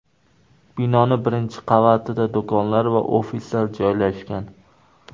Binoning birinchi qavatida do‘konlar va ofislar joylashgan.